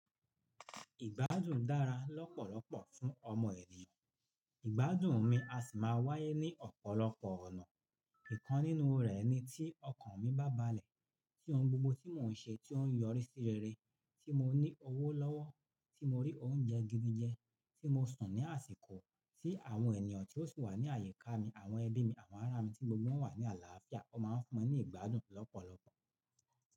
Ìgbádùn dára lọ́pọ̀lọpọ̀ fún ọmọ ènìyàn. Ìgbádùn mi a sì máa wáyé ní ọ̀pọ̀lọpọ̀ ọ̀nà. Ìkan nínú rẹ̀ ni tí ọkàn mi bá balẹ̀, tí ohun gbogbo tí mò ń ṣe tí ó ń yọrí sí rere, tí mo ní owó lọ́wọ́, tí mo rí oúnjẹ gidi jẹ, tí mo sùn ní àsìkò, tí àwọn ènìyàn tí ó sì wà ní àyíká mi, àwọn ẹbí mi, àwọn ará mi tí gbogbo wọn wà ní àlàáfíà. Wọ́n máa ń fún mi ní ìgbádùn lọ́pọ̀lọpọ̀.